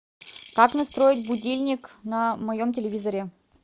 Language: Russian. как настроить будильник на моем телевизоре